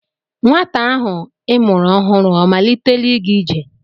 Nwata ahụ I mụrụ ọhụrụ ọ malitela ịga ije?